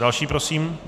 Další prosím.